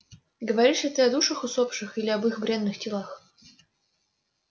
говоришь ли ты о душах усопших или об их бренных телах